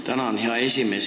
Tänan, hea esimees!